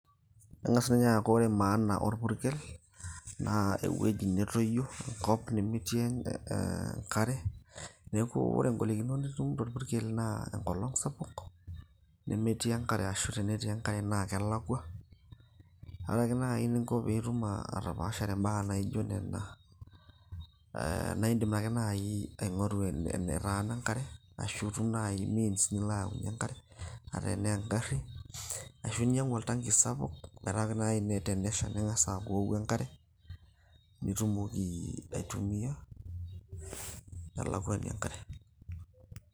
eng'as ninye aaku ore maana orpurkel naa ewueji netoyio enkop nemetii enkare neeku ore ingolikinot natum torpurkel naa enkolong sapuk nemetii enkare ashu tenetii enkare naa kelakua, ore ake naaji eninko piitum atapaashare imbaa naijo nena naa indim ake naaji aing'oru enetaana enkare ashu itum naaji means nilo ayaunyie enkare ata enaa engarri ashu inyiang'u oltanki sapuk meeta kenaaji ininye tenesha ning'as aaku iwoku enkare nitumoki aitumiyia telakuani enkare.